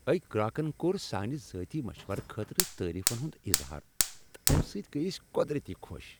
أکۍ گراكن كوٚر سانہِ ذٲتی مشورٕ خٲطرٕ تعریفن ہُند اظہار تہٕ امہِ سۭتۍ گٔیۍ ٲسۍ قۄدرتی خۄش ۔